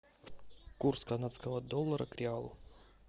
курс канадского доллара к реалу